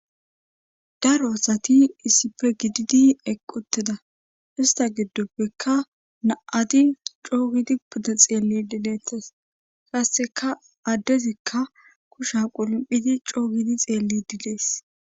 daro asati issipe gididi eqqi uteda ista giddoppeka na7at coogidi pudda xeelli didettas qasseka addezikka kusha qulomphidi coogidi xeellid des